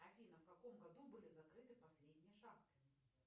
афина в каком году были закрыты последние шахты